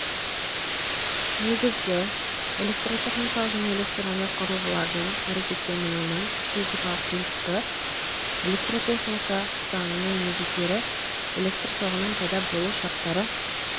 негізгі электротехникалық және электрондық құрылғылардың әрекеттенуінің физикалық принциптері электротехника заңының негіздері электр тоғының пайда болу шарттары